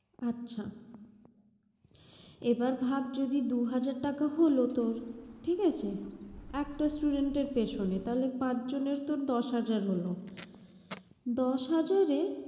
আচ্ছা এবার ভাব যদি দুই হাজার টাকা হলো তোর ঠিক আছে একটা studeny এরপিছনে। তাহলে পাঁচজনের থেকে দশ হাজার হলো। দশ হাজারে